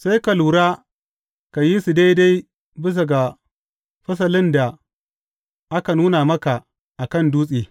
Sai ka lura ka yi su daidai bisa ga fasalin da aka nuna maka a kan dutse.